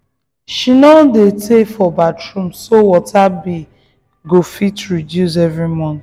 she no dey tey for bathroom so water bill go fit reduce every month.